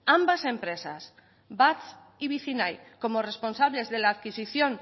ambas empresas batz y vicinay como responsables de la adquisición